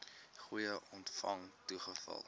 fooie ontvang toegeval